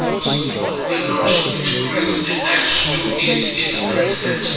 a small pillars which grills attached to it is present.